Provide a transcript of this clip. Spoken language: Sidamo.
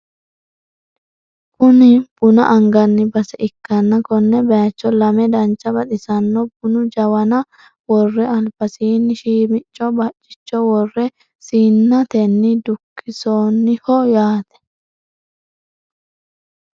Kuni buna anganni base ikkanna kone bayiicho lame dancha baxisanno bunu jawana worre albasiinni shiimicco baccicho worre sinnatenni dukkinsooniho yaate.